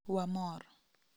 Wamor.